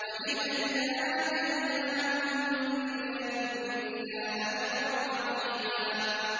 وَإِذًا لَّآتَيْنَاهُم مِّن لَّدُنَّا أَجْرًا عَظِيمًا